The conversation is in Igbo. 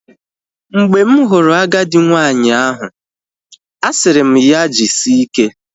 Mgbe m hụrụ agadi nwanyị ahụ, asịrị m ya jisike